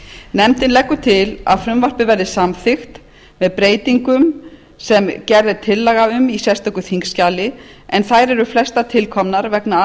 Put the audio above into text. nefndin leggur til að frumvarpið verði samþykkt með breytingum sem gerð er tillaga um í sérstöku þingskjali en þær eru flestar tilkomnar vegna